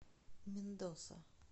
мендоса